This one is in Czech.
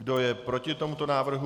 Kdo je proti tomuto návrhu?